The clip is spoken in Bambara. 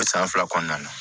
O san fila kɔnɔna na